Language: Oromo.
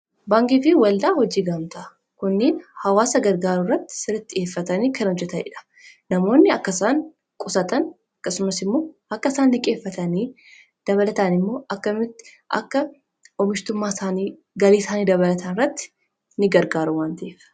Baankii fi waldaa hojii gamtaa kunni hawaasa gargaaruu irratti siratti dhi'eeffatanii kan hojjetaniidha namoonni akka isaan qusatan aqasumas immoo akka isaan diqeeffatanii dabalatan immoo kakka omishtummaa isaanii galiisaanii dabalatan irratti ni gargaaru.